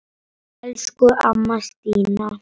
Elsku amma Stína.